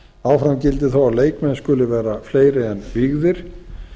áfram gildir þó að leikmenn skuli vera fleiri en vígðir